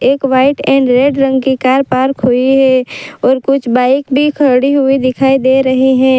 एक white and red रंग की कार पार्क हुईं हैं और कुछ बाइक भी खड़ी हुई दिखाई दे रही हैं।